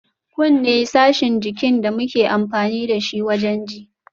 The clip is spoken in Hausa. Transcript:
Kunne sashin jikin da muke amfani dashi wajen ji